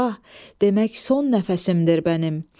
Eyvah, demək son nəfəsimdir mənim.